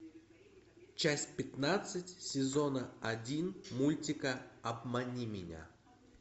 часть пятнадцать сезона один мультика обмани меня